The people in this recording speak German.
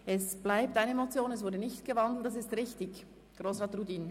Es bleibt bei der Motion, also keine Umwandlung, richtig, Grossrat Rudin?